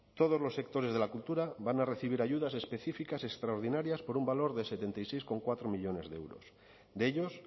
todos los sectores de la cultura van a recibir ayudas específicas extraordinarias por un valor de setenta y seis coma cuatro millónes de euros de ellos